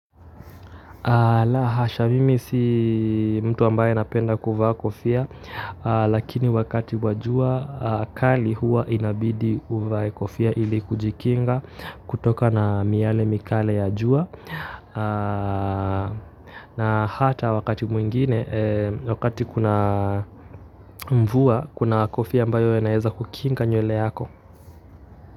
La hasha mimi si mtu ambaye napenda kuvaa kofia lakini wakati wa jua kali hua inabidi uvae kofia ili kujikinga kutoka na miale mikale ya jua na hata wakati mwingine wakati kuna mvua kuna kofia ambayo inaeza kukinga nywele yako.